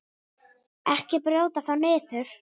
Ekki brjóta þá niður.